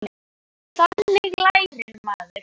Þannig lærir maður.